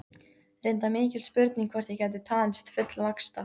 Reyndar mikil spurning hvort ég gæti talist fullvaxta.